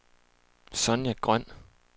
Sonja Grøn